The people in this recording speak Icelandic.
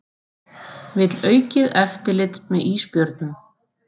Vill aukið eftirlit með ísbjörnum